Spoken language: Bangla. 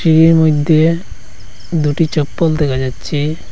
এর মইধ্যে দুটি চপ্পল দেখা যাচ্ছে।